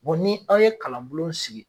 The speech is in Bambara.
ni aw ye kalan bulon sigi.